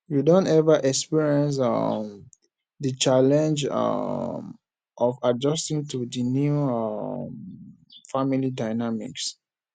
you don ever experience um di challenge um of adjusting to di new um family dynamics